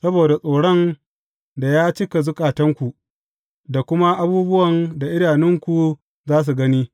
Saboda tsoron da ya cika zukatanku da kuma abubuwan da idanunku za su gani.